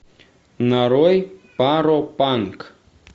нарой паропанк